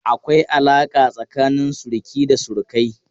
Akwai alaƙa tsakanin suruki da surukai.